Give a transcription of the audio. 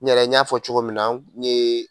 N yɛrɛ n y'a fɔ cogo min na n yee